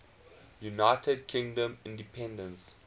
united kingdom independence